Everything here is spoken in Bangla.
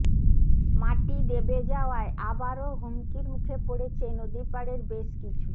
মাটি দেবে যাওয়ায় আবারও হুমকির মুখে পড়েছে নদীপাড়ের বেশ কিছু